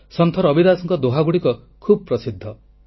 ସନ୍ଥ ରବିଦାସଙ୍କ ଦୋହାଗୁଡ଼ିକ ଖୁବ୍ ପ୍ରସିଦ୍ଧ